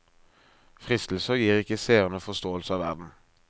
Fristelser gir ikke seerne forståelse av verden.